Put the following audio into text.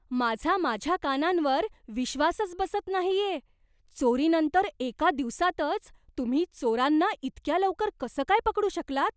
माझा माझ्या कानांवर विश्वासच बसत नाहीये. चोरीनंतर एका दिवसातच तुम्ही चोरांना इतक्या लवकर कसं काय पकडू शकलात?